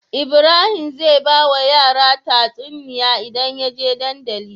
Ibrahim zai bawa yara tatsuniya idan yaje dandali